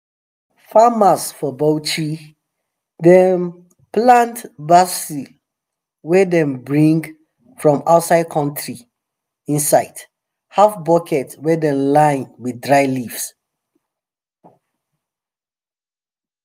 farmers for bauchi dey um plant basil wey dem bring um from outside country inside um half bucket wey dem line wth dry leaf